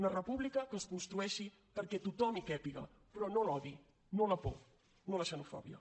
una república que es construeixi perquè tothom hi càpiga però no l’odi no la por no la xenofòbia